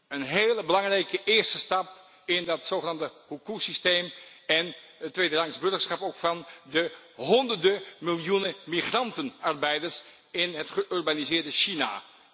Een heel belangrijke eerste stap in dat zogenaamde hukou systeem en het tweederangs burgerschap van de honderden miljoenen migrantenarbeiders in het geurbaniseerde China.